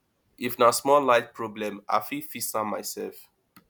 if na small light problem i fit fix am mysef